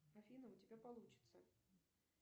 афина у тебя получится